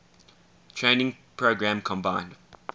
training program combined